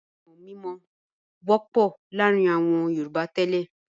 Iṣẹ́ amọ̀-mímọ wọ́pọ̀ láàárin àwọn Yorùbá tẹ́lẹ̀.